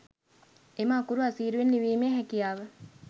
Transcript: එම අකුරු අසීරුවෙන් ලිවීමේ හැකියාව